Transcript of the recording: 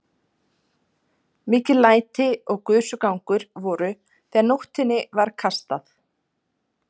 Mikil læti og gusugangur voru þegar nótinni var kastað.